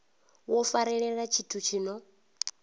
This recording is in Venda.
wo farelela tshithu tshi no